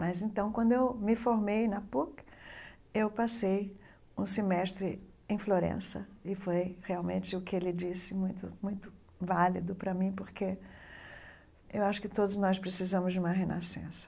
Mas, então, quando eu me formei na PUC, eu passei um semestre em Florença, e foi realmente o que ele disse muito muito válido para mim, porque eu acho que todos nós precisamos de uma renascença.